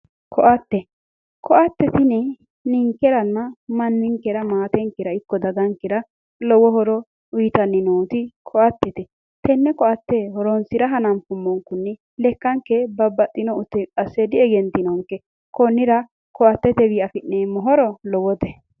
koatte tini n4inkeranna manninkera maatenkera ikko dagankera lowo horo uutanni nooti koattete tenne koatte horoonsira hananfumonkunni lekkanke babbaxittino ute qasse diegenteenke konnira koatetenni afi'neemmo horo lowote